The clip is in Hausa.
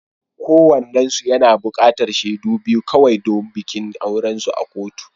Kowannensu yana buƙatar shaidu biyu kawai don bikin aurensu na kotu.